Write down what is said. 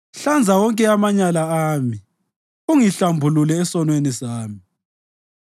Hlanza wonke amanyala ami ungihlambulule esonweni sami.